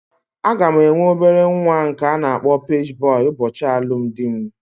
Aga m enwe obere nwa nke a na-akpọ paji bọy ụbọchị alụmdi mụ